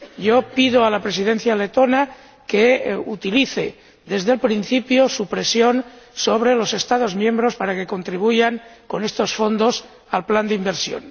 Yo pido a la Presidencia letona que utilice, desde el principio, su presión sobre los Estados miembros para que contribuyan con estos fondos al plan de inversión.